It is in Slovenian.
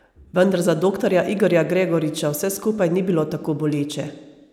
Vendar za doktorja Igorja Gregoriča vse skupaj ni bilo tako boleče.